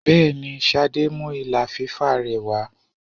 Bẹẹni, Ṣadé mú ìlà fífà rẹ wà.